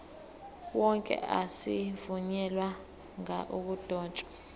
wonke azivunyelwanga ukudotshwa